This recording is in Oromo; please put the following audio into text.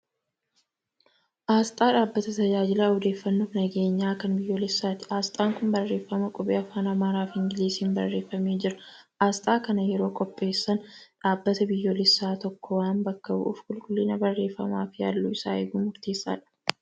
Asxaa dhaabbata tajaajila odeeffannoo fi nageenyaa kan biyyoolessaati. Asxaan kun barreeffama qubee afaan Amaaraa fi Ingiliziin barreeffamee jira. Asxaa akkanaa yeroo qopheessan dhaabbata biyyoolessaa tokko waan bakka bu'uuf qulqullina barreeffamaa fi halluu isaa eeguun murteessaadha.